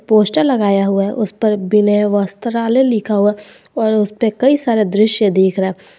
Poster लगाया हुआ है उस पर विनय वस्त्रालय लिखा हुआ और उसे पर कई सारे दृश्य देख रहा है।